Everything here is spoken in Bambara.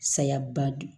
Saya ba do